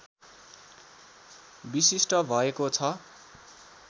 विशिष्ट भएको छ